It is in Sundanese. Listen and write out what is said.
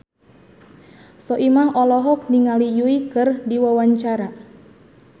Soimah olohok ningali Yui keur diwawancara